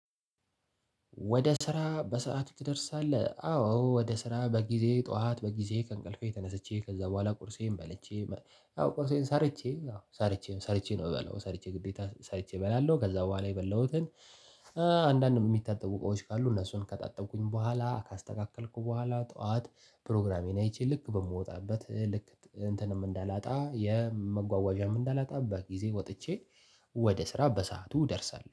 ወደ ስራ በሰአቱ ትደርሳለህ? አዎ ወደ ስራ በጊዜ ጠዋት በጊዜ ከእንቅልፌ ተነስቼ ከዛ በኋላ ቁርሴን በለቼ አዎ ቁርሴን ሰርቼ አዎ ሰርቼ ሰርቼ ነው እምበላው ሰርቼ ግዴታ ሰርቼ እበላለሁ ከዛ በኋላ የበላሁትን እ አንዳንድ የሚታጠቡ ቆይቶች ካሉ እነሱን ከጣጠብኩኝ በኋላ ካስተካከልኩ በኋላ ጠዋት ፕሮግራሜን አይቼ ልክ በምወጣበት ልክ እንትንም እንዳላጣ የመጓዋዣም እንዳላጣባት ጊዜ ወጥቼ። ወደ ስራ በሰአቱ እደርሰሃለሁ